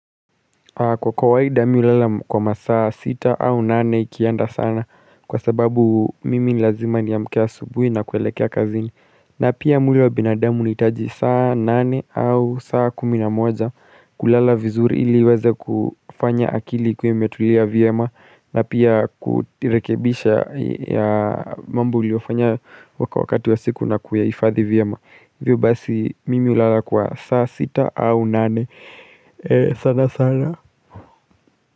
Kwa kawaida mimi hulala kwa masaa sita au nane ikienda sana kwa sababu mimi lazima niamke asubuhi na kuelekea kazini. Na pia mwili wa binadamu unahitaji saa nane au saa kuminamoja kulala vizuri ili uweze kufanya akili ikiwa imetulia vyema na pia kujirekebisha ya mambo uliofanya wakati wa siku na kuyahifadhi vyema. Hivyo basi mimi hulala kwa saa sita au nane sana sana.